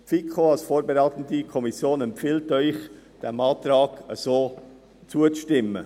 Die FiKo als vorberatende Kommission empfiehlt Ihnen, diesem Antrag so zuzustimmen.